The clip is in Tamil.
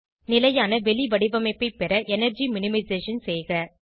நிலையான வெளிவடிவமைப்பை பெற எனர்ஜி மினிமைசேஷன் செய்க